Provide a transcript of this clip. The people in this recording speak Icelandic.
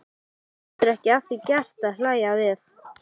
Hann getur ekki að því gert að hlæja við.